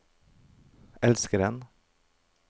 elskeren